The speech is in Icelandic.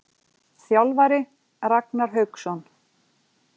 Þjálfari: Ragnar Hauksson.